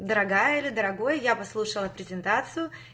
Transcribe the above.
дорогая или дорогой я послушала презентацию